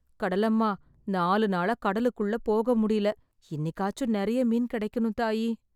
கடலம்மா, நாலு நாளா கடலுக்குள்ள போக முடியல. இன்னிக்காச்சும் நெறைய மீன் கெடைக்கணும் தாயீ...